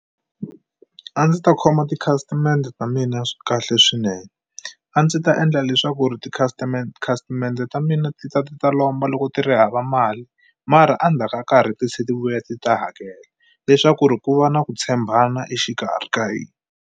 A ndzi ta khoma tikhasimende ta mina kahle swinene, a ndzi ta endla leswaku ri tikhasimende ta mina ti ta ti ta lomba loko ti ri hava mali mara a ndzhaku ka nkarhi ti tlhela ti vuya ti ta hakela. Leswaku ri ku va na ku tshembana exikarhi ka hina.